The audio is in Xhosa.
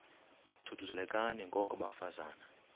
thuthuzelekani ngoko bafazana